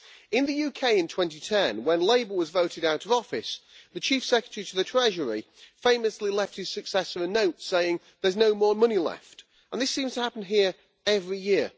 In the UK in 2010, when Labour was voted out of office, the Chief Secretary to the Treasury famously left his successor a note saying There's no more money left', and this seems to happen here every year.